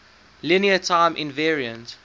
linear time invariant